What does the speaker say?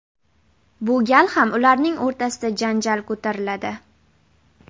Bu gal ham ularning o‘rtasida janjal ko‘tariladi.